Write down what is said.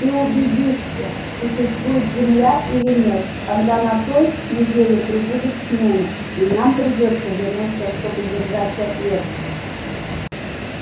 ты убедишься существует земля или нет когда на той неделе прибудет смена и нам придётся вернуться чтобы держать ответ